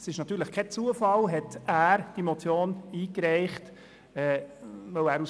Es ist natürlich kein Zufall, dass er diese Motion eingereicht hat.